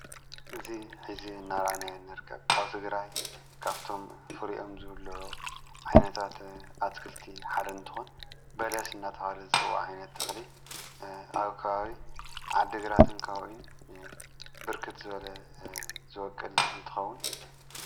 እዙ ኂዚ እናርኣናይ ነርቀብ ኣብዝግራይ ካብቶም ፍሪእኦም ዘብልዑ ዓይነታት ኣትክልቲ ሓደ ንትኾን በለስ እናተዋለ ዝፅኡ ዓይነት ተኽሊ ኣዊካባዊ ዓድግራትን ካውዩን ብርክት ዘበለ ዘወቅል እንትኸውን።